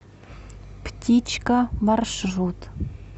птичка маршрут